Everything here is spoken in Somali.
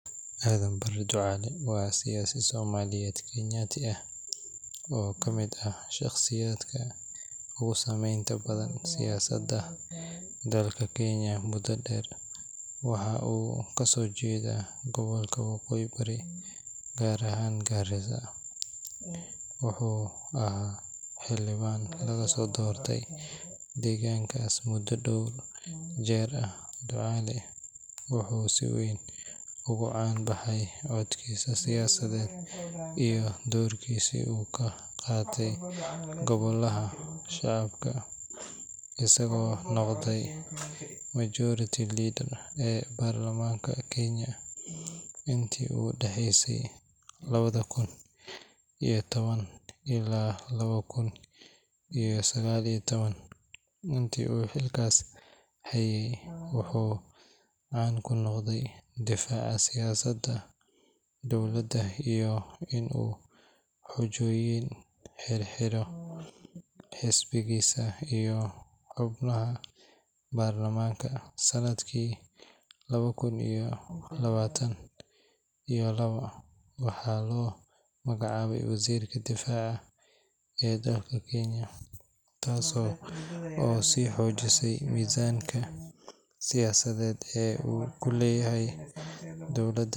Aadan Barre Ducaale waa siyaasi Soomaaliyeed-Kenyaati ah oo ka mid ah shaqsiyaadka ugu saameynta badan siyaasadda dalka Kenya muddo dheer. Wuxuu ka soo jeedaa gobolka Waqooyi Bari, gaar ahaan Garissa. Wuxuu ahaa xildhibaan laga soo doortay deegaankaas muddo dhowr jeer. Ducaale wuxuu si weyn ugu caan baxay codkiisa siyaasadeed iyo doorkiisa uu ka qaatay golaha shacabka, isagoo noqday Majority Leader ee baarlamaanka Kenya intii u dhaxaysay 2010 ilaa 2019. Intaa uu xilkaas hayay, muxuu caan ku noqday? Wuxuu caan ku noqday difaaca siyaasadda dowladda iyo in xujoyin xiriir la leh xisbigiisa uu si cad uga dhex muuqday, iyo saameynta uu ku lahaa baarlamaanka. Sanadkii 2022 waxaa loo magacaabay Wasiirka Difaaca ee dalka Kenya, taas oo sii xoojisay miisaanka siyaasadeed ee uu ku leeyahay dowladda.